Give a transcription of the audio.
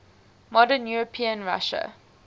modern european russia